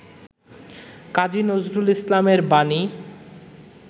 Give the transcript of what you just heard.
কাজী নজরুল ইসলাম এর বাণী